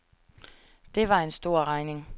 Det var en stor regning.